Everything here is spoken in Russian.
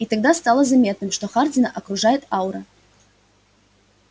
и тогда стало заметным что хардина окружает аура